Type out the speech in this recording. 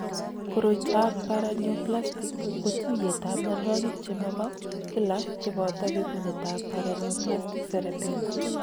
Koroitoab Paraneoplastic ko tuiyetab mianwogik che mo ho kila che boto bekunetab paraneoplastic cerebellar.